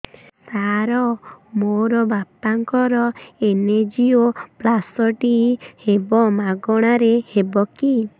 ସାର ମୋର ବାପାଙ୍କର ଏନଜିଓପ୍ଳାସଟି ହେବ ମାଗଣା ରେ ହେବ କି